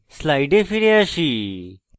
slides ফিরে আসি